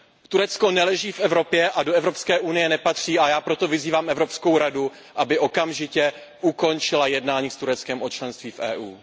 Turecko neleží v Evropě a do EU nepatří, a já proto vyzývám Evropskou radu, aby okamžitě ukončila jednání s Tureckem o členství v EU.